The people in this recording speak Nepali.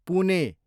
पुने